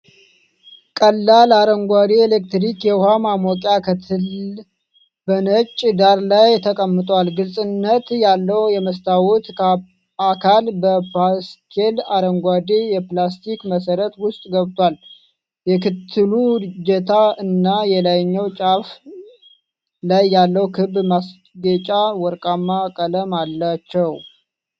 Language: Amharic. ቀላል አረንጓዴ የኤሌክትሪክ የውሃ ማሞቂያ (ከትል) በነጭ ዳራ ላይ ተቀምጧል። ግልጽነት ያለው የመስታወት አካል በፓስቴል አረንጓዴ የፕላስቲክ መሠረት ውስጥ ገብቷል። የክትሉ እጀታ እና የላይኛው ጫፍ ላይ ያለው ክብ ማስጌጫ ወርቃማ ቀለም አላቸው።